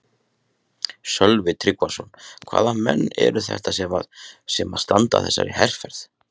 Sölvi Tryggvason: Hvaða menn eru þetta sem að, sem að standa að þessari herferð?